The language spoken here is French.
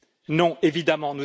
Non, évidemment.